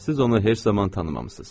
Siz onu heç zaman tanımamışsınız.